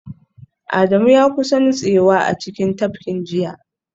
Adamu ya kusa nutsewa a cikin tafkin jiya